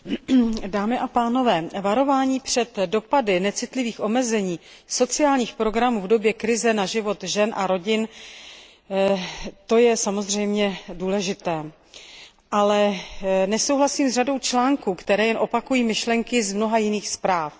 Paní předsedající, varování před dopady necitlivých omezení sociálních programů v době krize na život žen a rodin, to je samozřejmě důležité, ale nesouhlasím s řadou bodů, které jen opakují myšlenky z mnoha jiných zpráv.